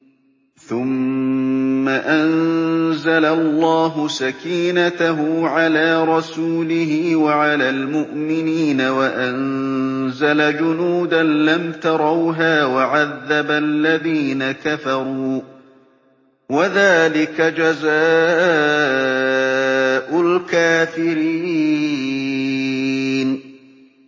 ثُمَّ أَنزَلَ اللَّهُ سَكِينَتَهُ عَلَىٰ رَسُولِهِ وَعَلَى الْمُؤْمِنِينَ وَأَنزَلَ جُنُودًا لَّمْ تَرَوْهَا وَعَذَّبَ الَّذِينَ كَفَرُوا ۚ وَذَٰلِكَ جَزَاءُ الْكَافِرِينَ